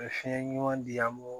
U bɛ fiɲɛ ɲuman di an m'o